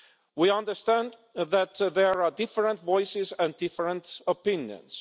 We understand that there are different voices and different opinions.